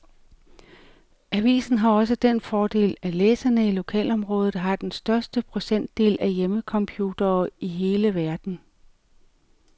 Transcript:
Avisen har også den fordel, at læserne i lokalområdet har den højeste procentdel af hjemmecomputere i hele verden.